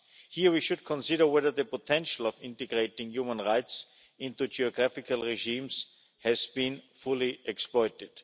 Here we should consider whether the potential of integrating human rights into geographical regimes has been fully exploited.